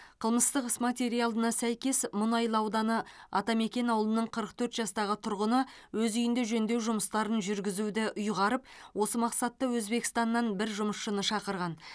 қылмыстық іс материалына сәйкес мұнайлы ауданы атамекен ауылының қырық төрт жастағы тұрғыны өз үйінде жөндеу жұмыстарын жүргізуді ұйғарып осы мақсатта өзбекстаннан бір жұмысшыны шақырған